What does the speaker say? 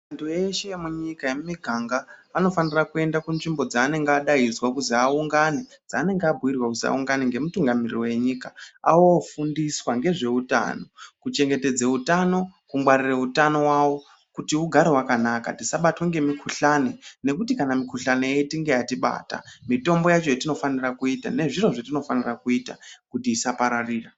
Antu ese emunyika emumuganga anofanirwa kuenda kuzvimbo dzavanenge vadaidzwa kuzi aungane dzaanenge abhiirwa kuzi aungane nemutungamiriri wenyika ofundiswa ngezveutano kuchengetedze utano kungwarire utano hawo kuti hugare hwakanaka tisabatwe ngemukhuhlani nekuti kana mukhuhlani ichinge yatibata mitombo yacho yatinofanira kuita nezviro zvatinofanira kuita kuti isapararira.